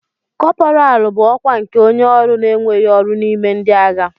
Kọpọraalụ bụ ọkwa nke onye ọrụ na-enweghị ọrụ n'ime ndị agha.